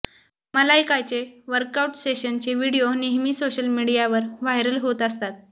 मलायकाचे workout सेशनचे video नेहमी social मीडियावर व्हायरल होत असतात